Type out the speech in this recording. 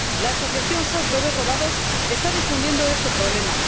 La asociación SOS Bebés Robados está difundiendo este problema.